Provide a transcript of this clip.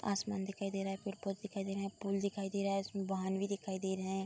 आसमान दिखाई दे रहा है। पड़े-पौधे दिखाई दे रहे हैं। पुल दिखाई दे रहा है। इसमें वाहन भी दिखाई दे रहे हैं।